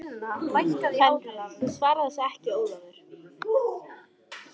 Kvenrödd: Þú svarar þessu ekki Ólafur!